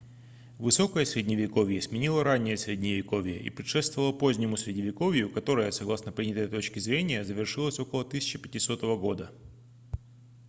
высокое средневековье сменило ранее средневековье и предшествовало позднему средневековью которое согласно принятой точке зрения завершилось около 1500 г